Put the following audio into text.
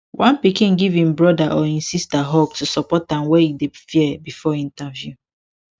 one pikin give im brotheror im sister hug to support am when e dey fear before interview